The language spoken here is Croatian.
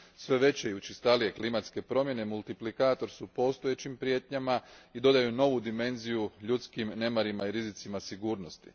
Sve veće i učestalije klimatske promjene multiplikator su postojećim prijetnjama i dodaju novu dimenziju ljudskim nemarima i rizicima sigurnosti.